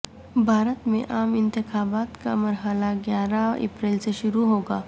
بھارت میں عام انتخابات کا مرحلہ گیارہ اپریل سے شروع ہو گا